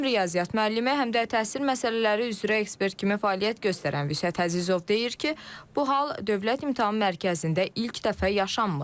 Həm riyaziyyat müəllimi, həm də təhsil məsələləri üzrə ekspert kimi fəaliyyət göstərən Vüsət Əzizov deyir ki, bu hal Dövlət İmtahan Mərkəzində ilk dəfə yaşanmır.